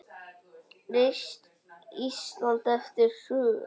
Reist Ísland eftir hrun.